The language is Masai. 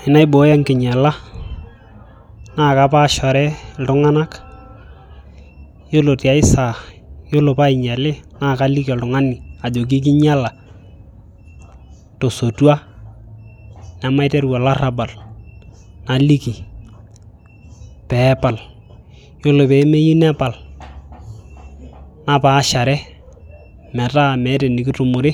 Tenaibooyo enkinyiala naakaapaashare iltung'anak yiolo tiae saa yiolo painyiali naakaliki oltung'ani aajoki kinyiala tosotua nemaiteru olarabal naliki peepal yiolo peemeyieu nepal napaashare metaa meeta enekitumore